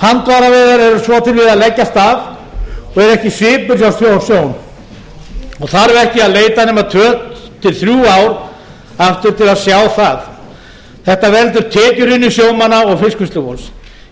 handfæraveiðar eru svo til að leggjast af og ekki svipur hjá sjón og þarf ekki að leita nema tvö til þrjú ár aftur til að sjá það þetta veldur tekjuhruni sjómanna og fiskvinnslu